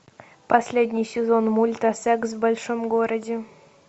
последний сезон мульта секс в большом городе